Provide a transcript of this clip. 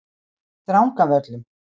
Drangavöllum